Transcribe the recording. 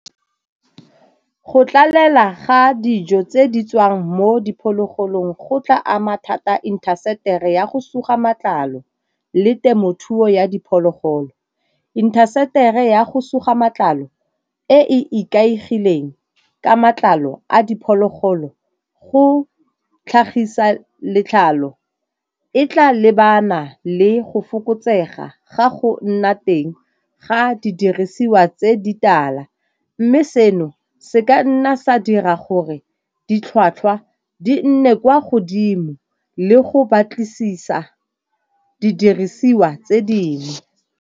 Go tlalela ga dijo tse di tswang mo diphologolong go tla ama thata intaseteri ya go suga matlalo le temothuo ya diphologolo. Intaseteri ya go suga matlalo e e ikaegileng ka matlalo a diphologolo go tlhagisa letlalo e tla lebana le go fokotsega ga go nna teng ga didirisiwa tse di tala. Mme seno se ka nna sa dira gore ditlhwatlhwa di nne kwa godimo le go batlisisa didirisiwa tse dingwe.